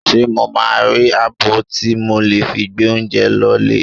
Ṣé mo máa rí abọ́ tí mo lè fi gbé oúnjẹ lọ lé?